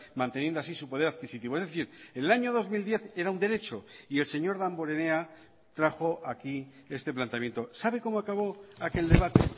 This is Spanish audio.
manteniendo así su poder adquisitivo es decir en el año dos mil diez era un derecho y el señor damborenea trajo aquí este planteamiento sabe cómo acabó aquel debate